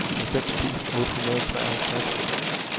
halvfems tusind otte hundrede og treoghalvtreds